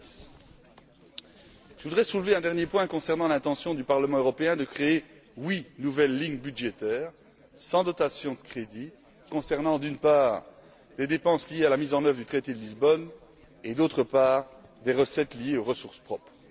2010. Je voudrais soulever un dernier point concernant l'intention du Parlement européen de créer huit nouvelles lignes budgétaires sans dotation de crédits concernant, d'une part, les dépenses liées à la mise en œuvre du traité de Lisbonne et, d'autre part, les recettes liées aux ressources propres.